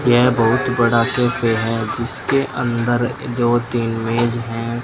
यह बहुत बड़ा कैफ़े हैं जिसके अंदर दो तीन मेज है।